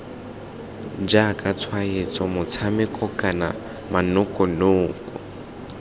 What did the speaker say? jaaka tshwaetso motshameko kana manokonoko